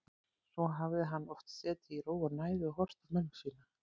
Svona hafði hann oft setið í ró og næði og horft á mömmu sína.